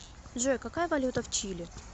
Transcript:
джой какая валюта в чили